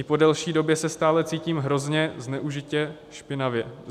I po delší době se stále cítím hrozně, zneužitě, špinavě.